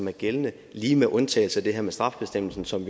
er gældende lige med undtagelse af det her med straffebestemmelsen som